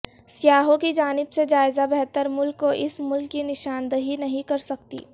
سیاحوں کی جانب سے جائزہ بہتر ملک کو اس ملک کی نشاندہی نہیں کر سکتی